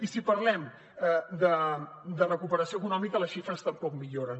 i si parlem de recuperació econòmica les xifres tampoc milloren